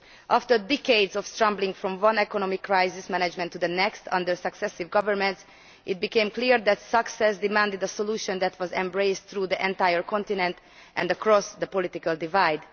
After decades of scrambling from one attempt at economic crisis management to the next under successive governments, it became clear that success called for a solution that we embraced throughout the entire continent and across the political divide.